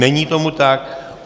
Není tomu tak.